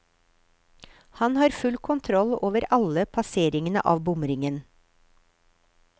Han har full kontroll over alle passeringene av bomringen.